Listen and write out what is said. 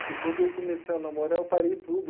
Porque quando eu comecei a namorar, eu parei tudo.